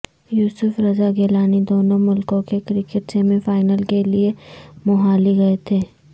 یوسف رضا گیلانی دونوں ملکوں کے کرکٹ سیمی فائنل کے لیے موہالی گئے تھے